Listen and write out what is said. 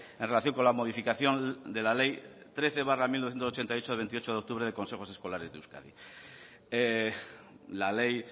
en relación con la modificación de la ley trece barra mil novecientos ochenta y ocho de veintiocho de octubre de consejos escolares de euskadi la ley